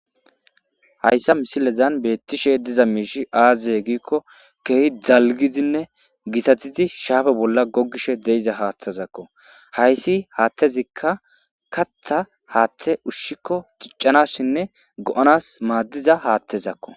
Hayssa misilezan beettishe diza miishi aazye giikko keehi dalgizinne gitatizi shaafe bolla gogishe deiza haaththezakko hayssi haaththezikka katha haaththe ushshikko ciccanasshinne go7onas maaddiza haathtezakko.